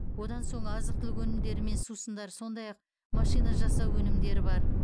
одан соң азық түлік өнімдері мен сусындар сондай ақ машина жасау өнімдері бар